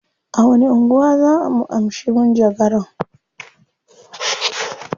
A wani anguwa zaa mu amshi manjagaran?